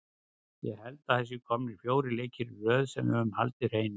Ég held að það séu komnir fjórir leikir í röð sem við höfum haldið hreinu.